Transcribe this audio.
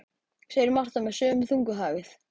segir Marta með sömu þungu hægð.